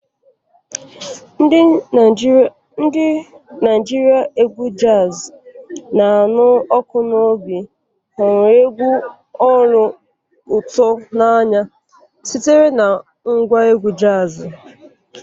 Ndị Naijiria égwù jazii na anụ ọkụ n'obi hụrụ egwu olu ụtọ n'anya sitere na ngwa égwù jazi.